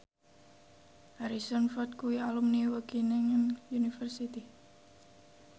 Harrison Ford kuwi alumni Wageningen University